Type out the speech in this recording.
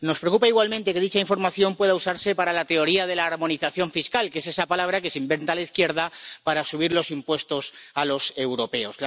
Nos preocupa igualmente que dicha información pueda usarse para la teoría de la armonización fiscal, que es esa palabra que se inventa la izquierda para subir los impuestos a los europeos.